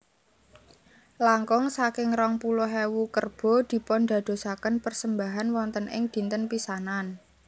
Langkung saking rong puluh ewu kerbo dipundadosaken persembahan wonten ing dinten pisanan